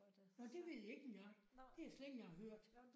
Nåh det ved jeg ikke engang. Det har jeg slet ikke engang hørt